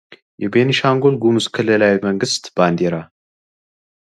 የቤንሻጉል ጉሙዝ ክልላዊ መንግስት ባዲራ